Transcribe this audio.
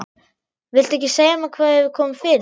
Viltu ekki segja mér hvað hefur komið fyrir?